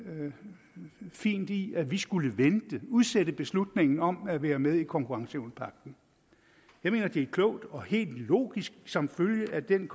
noget fint i at vi skulle vente udsætte beslutningen om at være med i konkurrenceevnepagten jeg mener det er klogt og helt logisk som følge af den